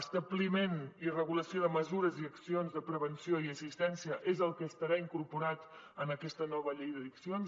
establiment i regulació de mesures i accions de prevenció i assistència és el que estarà incorporat en aquest nova llei d’addiccions